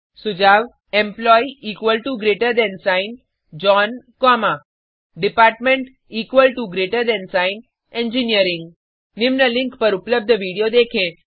सुझाव employee John comma department engineering निम्न link पर उपलब्ध वीडियो देखें